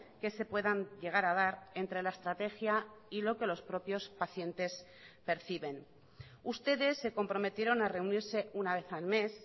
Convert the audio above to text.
que se puedan llegar a dar entre la estrategia y lo que los propios pacientes perciben ustedes se comprometieron a reunirse una vez al mes